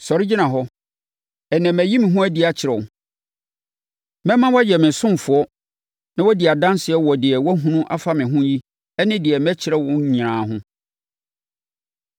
Sɔre gyina hɔ. Ɛnnɛ mayi me ho adi akyerɛ wo; mɛma woayɛ me ɔsomfoɔ na woadi adanseɛ wɔ deɛ woahunu afa me ho yi ne deɛ mɛkyerɛ wo nyinaa ho.